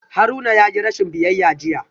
Haruna yayi rashin biyayya jiya